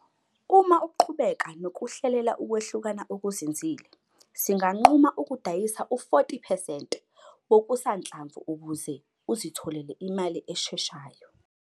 Uma uqhubeka nokuhlelela ukwehlukana okuzinzile, singanquma ukudayisa u-40 percent wokusanhlamvu ukuze uzitholele imali esheshayo.